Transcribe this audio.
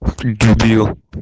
ты дебил